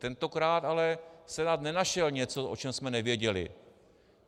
Tentokrát ale Senát nenašel něco, o čem jsme nevěděli.